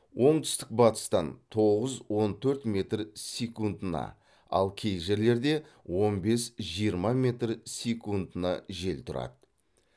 оңтүстік батыстан тоғыз он төрт метр секундына ал кей жерлерде он бес жиырма метр секундына жел тұрады